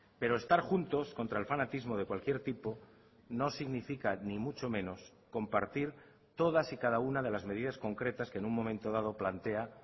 pero estar juntos contra el fanatismo de cualquier tipo no significa ni mucho menos compartir todas y cada una de las medidasconcretas que en un momento dado plantea